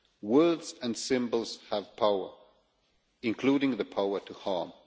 Words and symbols have power, including the power to harm.